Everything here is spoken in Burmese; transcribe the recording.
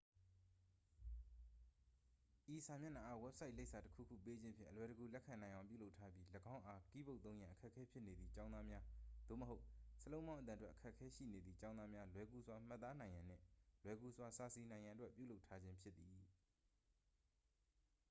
ဤစာမျက်နှာအား ဝက်ဆိုင်လိပ်စာ တစ် ခုခု ပေးခြင်းဖြင့် အလွယ်တကူ လက်ခံနိုင်အောင် ပြုလုပ်ထားပြီး ၎င်းအား ကီးဘုတ်သုံးရန် အခက်အခဲဖြစ်နေသည့် ကျောင်းသားများ သို့မဟုတ် စာလုံးပေါင်းအသံထွက် အခက်ခဲရှိနေသည့် ကျောင်းသားများ လွယ်ကူစွာမှတ်သားနိုင်ရန်နှင့် လွယ်ကူစွာစာစီနိုင်ရန်အတွက် ပြုလုပ်ထားခြင်းဖြစ်သည်